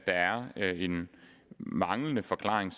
en manglende forklaring